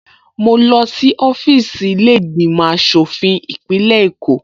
Mo lọ sí ọfíìsì ilé ìgbìmò aṣòfin ìpínlẹ̀ Èkó